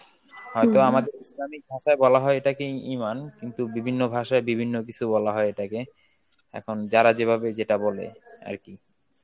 হয়তো আমাদের islamic ভাষায় বলা হয় এটাকে ই~ ইমান কিন্তু বিভিন্ন ভাষায় বিভিন্ন কিছু বলা হয় এটাকে, এখন যারা যেভাবে যেটা বলে আর কি.